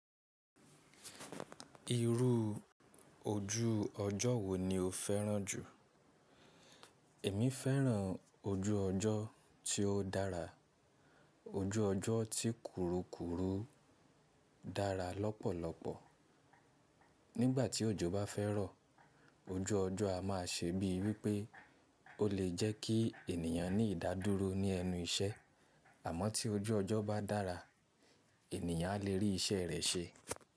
Irú ojú ọjọ́ wo ni o fẹ́ràn jù? Èmi fẹ́ràn ojú ọjọ́ tí ó dára. Ojú ọjọ́ tí kùrukùru dára lọ́pọ̀lọpọ̀. Nígbà tí òjò bá fẹ́ rọ̀, ojú ọjọ́ a má a ṣe bíi wí pé ó lè jẹ́ kí ènìyàn ní ìdádúró ní ẹnu iṣẹ́. Àmọ́ tí ojú ọjọ́ bá dára, ènìyàn lè rí iṣẹ́ rẹ̀ ṣe.